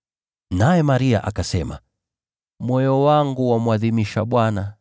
Naye Maria akasema: “Moyo wangu wamwadhimisha Bwana,